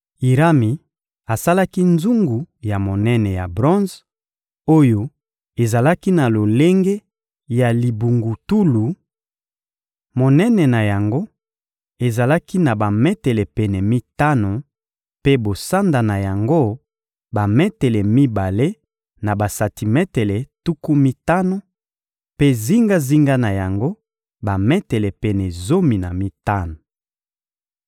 Irami asalaki nzungu ya monene ya bronze oyo ezalaki na lolenge ya libungutulu: monene na yango ezalaki na bametele pene mitano, mpe bosanda na yango, bametele mibale na basantimetele tuku mitano; mpe zingazinga na yango, bametele pene zomi na mitano.